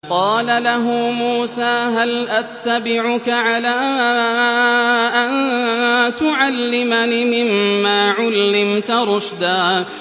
قَالَ لَهُ مُوسَىٰ هَلْ أَتَّبِعُكَ عَلَىٰ أَن تُعَلِّمَنِ مِمَّا عُلِّمْتَ رُشْدًا